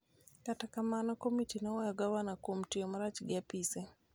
Kata kamano, komiti noweyo gavanano kuom tiyo marach gi apise .